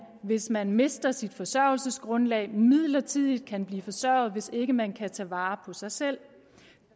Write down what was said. hvis man mister sit forsørgelsesgrundlag midlertidigt kan blive forsørget hvis ikke man kan tage vare på sig selv